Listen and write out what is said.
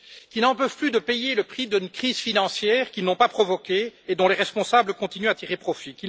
qui n'en peuvent plus de payer le prix d'une crise financière qu'ils n'ont pas provoquée et dont les responsables continuent à tirer profit